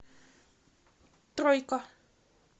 тройка